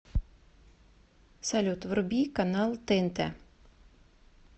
салют вруби канал тнт